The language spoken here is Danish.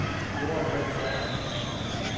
Joachim Sørensen